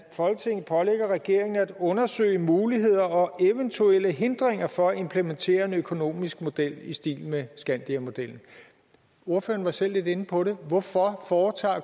folketinget pålægger regeringen at undersøge muligheder og eventuelle hindringer for at implementere en økonomisk model i stil med skandiamodellen ordføreren var selv lidt inde på hvorfor